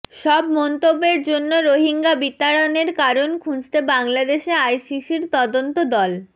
সব মন্তব্যের জন্য রোহিঙ্গা বিতাড়নের কারণ খুঁজতে বাংলাদেশে আইসিসির তদন্ত দল